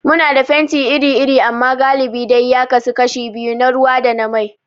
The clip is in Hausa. Muna da fenti iri-iri amma galibi dai ya kasu kashi biyu, na ruwa da na mai.